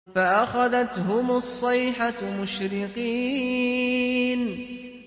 فَأَخَذَتْهُمُ الصَّيْحَةُ مُشْرِقِينَ